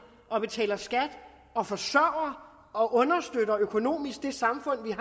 og betaler skat og forsørger og understøtter økonomisk det samfund